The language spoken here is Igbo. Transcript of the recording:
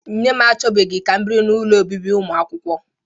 Nne m achọbughị ka m biri n'ụlọ obibi ụmụakwụkwọ